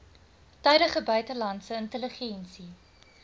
tydige buitelandse intelligensie